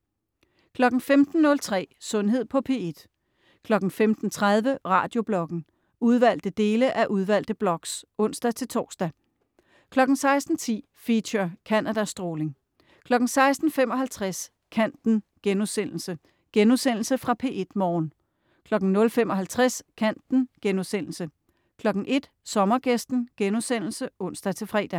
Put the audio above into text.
15.03 Sundhed på P1 15.30 Radiobloggen. Udvalgte dele af udvalgte blogs (ons-tors) 16.10 Feature: Canada stråling 16.55 Kanten.* Genudsendelse fra P1 Morgen 00.55 Kanten* 01.00 Sommergæsten* (ons-fre)